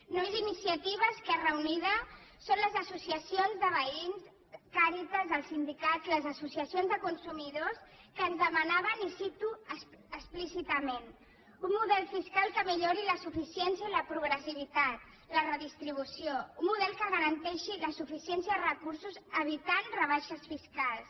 no és iniciativa esquerra unida són les associacions de veïns càritas els sindicats les associacions de consumidors que ens demanaven i ho cito explícitament un model fiscal que millori la suficiència i la progressivitat la redistribució un model que garanteixi la suficiència de recursos evitant rebaixes fiscals